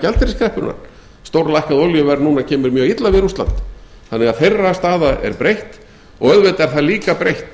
gjaldeyriskreppunnar stórlækkað olíuverð núna kemur mjög illa við rússland þannig að þeirra staða er breytt og auðvitað er það líka breytt